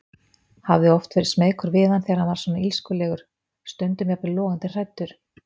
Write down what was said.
Hafði oft verið smeykur við hann þegar hann var svona illskulegur, stundum jafnvel logandi hræddur.